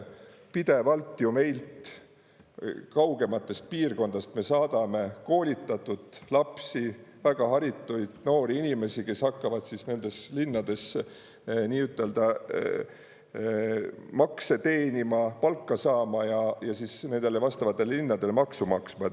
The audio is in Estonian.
Pidevalt ju meilt kaugematest piirkondadest me saadame koolitatud lapsi, väga haritud noori inimesi, kes hakkavad nendes linnades nii-ütelda makse teenima, palka saama ja nendele vastavatele linnadele maksu maksma.